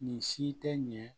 Nin si tɛ ɲɛ